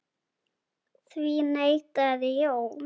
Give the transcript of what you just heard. Því neitaði Jón.